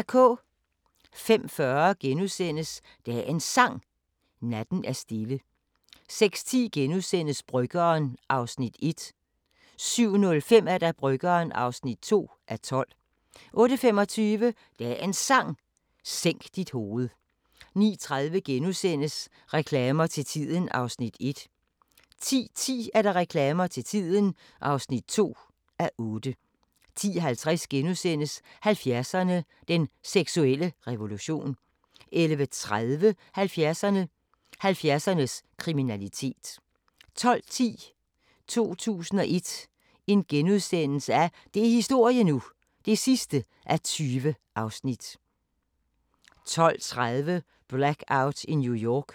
05:40: Dagens Sang: Natten er stille * 06:10: Bryggeren (1:12)* 07:05: Bryggeren (2:12) 08:25: Dagens Sang: Sænk dit hoved 09:30: Reklamer til tiden (1:8)* 10:10: Reklamer til tiden (2:8) 10:50: 70'erne: Den seksuelle revolution * 11:30: 70'erne: 70'ernes kriminalitet 12:10: 2001 – det er historie nu! (20:20)* 12:30: Blackout i New York